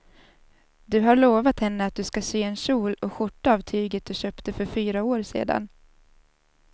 Du har lovat henne att du ska sy en kjol och skjorta av tyget du köpte för fyra år sedan.